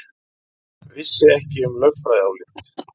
Vissi ekki um lögfræðiálit